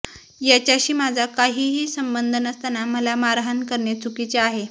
याच्याशी माझा काहीही संबंध नसताना मला मारहाण करणे चुकीचे आहे